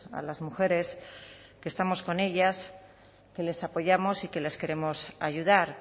a las mujeres que estamos con ellas que les apoyamos y que les queremos ayudar